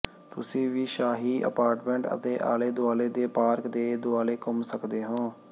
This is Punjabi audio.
ਤੁਸੀਂ ਵੀ ਸ਼ਾਹੀ ਅਪਾਰਟਮੈਂਟ ਅਤੇ ਆਲੇ ਦੁਆਲੇ ਦੇ ਪਾਰਕ ਦੇ ਦੁਆਲੇ ਘੁੰਮ ਸਕਦੇ ਹੋ